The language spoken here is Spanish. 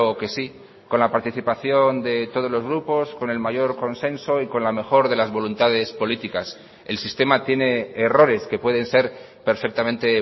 que sí con la participación de todos los grupos con el mayor consenso y con la mejor de las voluntades políticas el sistema tiene errores que pueden ser perfectamente